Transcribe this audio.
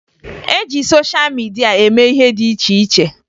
E ji sosha midia eme ihe dị iche iche